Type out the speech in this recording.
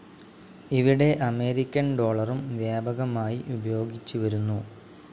ഇവിടെ അമേരിക്കൻ ഡോളറും വ്യാപകമായി ഉപയോഗിച്ചുവരുന്നു.